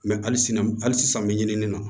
Mɛ hali sini hali sisan an bɛ ɲinini na